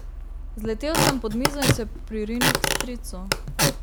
Zletel sem pod mizo in se pririnil k stricu.